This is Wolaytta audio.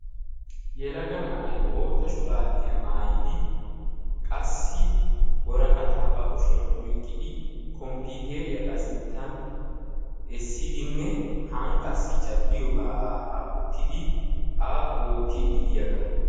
Yelaga na'ay bootta shuraabiyaa maayidi qassi woraqataa ba kushiyaan oyqqidi komppiiteriyaa ba sinttan essidi han qassi caddiyoogaa aagaa wottidi ani oottiidi diyaagaa.